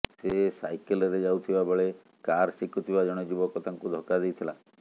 ସେ ସାଇକେଲ୍ରେ ଯାଉଥିବା ବେଳେ କାର୍ ଶିଖୁଥିବା ଜଣେ ଯୁବକ ତାଙ୍କୁ ଧକ୍କା ଦେଇଥିଲା